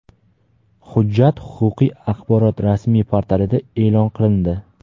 Hujjat huquqiy axborot rasmiy portalida e’lon qilindi.